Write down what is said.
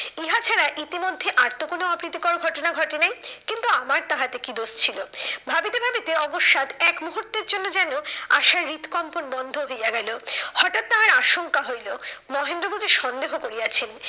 ইহা ছাড়া ইতিমধ্যে আর তো কোনো অপ্রীতিকর ঘটনা ঘটে নাই। কিন্তু আমার তাহাতে কি দোষ ছিল? ভাবিতে ভাবিতে অকস্মাৎ এক মুহূর্তের জন্য যেন আশার হৃদকম্পন বন্ধ হইয়া গেলো। হঠাৎ তাহার আশঙ্কা হইলো, মহেন্দ্র বুঝি সন্দেহ করিয়াছেন